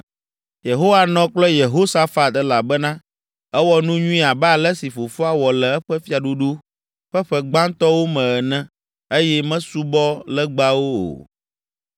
Yehowa nɔ kple Yehosafat elabena ewɔ nu nyui abe ale si fofoa wɔ le eƒe fiaɖuɖu ƒe ƒe gbãtɔwo me ene eye mesubɔ legbawo o.